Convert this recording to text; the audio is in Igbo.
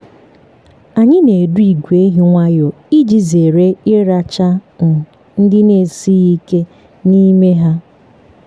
anyị na-edu ìgwè ehi nwayọọ iji zere ịracha um ndị na-esighi ike n’ime ha.